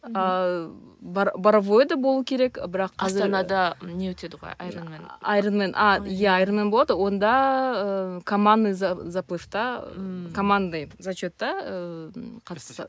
ыыы боровоеде болу керек ы бірақ астанада не өтеді ғой аэронмен аэронмен а иә аэронмен болады онда ыыы командный заплывта ыыы командный зачетта ыыы қатысса